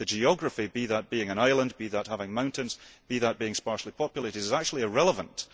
The geography be that being an island, be that having mountains, be that being sparsely populated is actually irrelevant.